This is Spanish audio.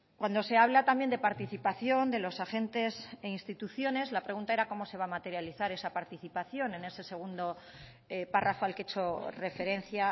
cuando se habla también de participación de los agentes e instituciones la pregunta era cómo se va a materializar esa participación en ese segundo párrafo al que he hecho referencia